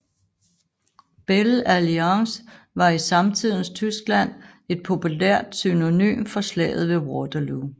Belle Alliance var i samtidens Tyskland et populært synonym for Slaget ved Waterloo